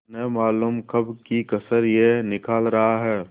न मालूम कब की कसर यह निकाल रहा है